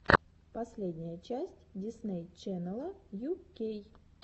последняя часть дисней ченнела ю кей